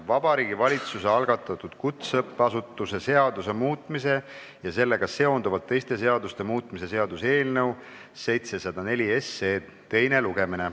Vabariigi Valitsuse algatatud kutseõppeasutuse seaduse muutmise ja sellega seonduvalt teiste seaduste muutmise seaduse eelnõu 704 teine lugemine.